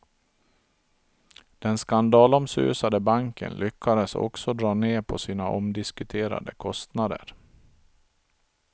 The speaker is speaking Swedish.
Den skandalomsusade banken lyckades också dra ned på sina omdiskuterade kostnader.